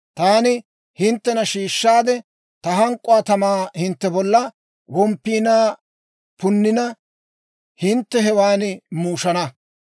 Taani hinttena shiishshaade, ta hank'k'uwaa tamaa hintte bolla womppiinaa punnina, hintte hewan muushana.